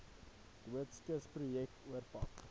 doodskis projek oorpak